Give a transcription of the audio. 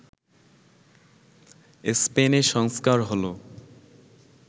স্পেনে সংস্কার হল